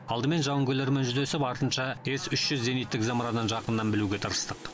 алдымен жауынгерлермен жүздесіп артынша с үш жүз зениттік зымыранын жақыннан білуге тырыстық